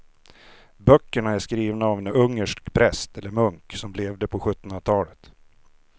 Böckerna är skrivna av en ungersk präst eller munk som levde på sjuttonhundratalet.